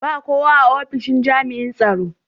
ba kowak ullun a opishin jami'in tsaro.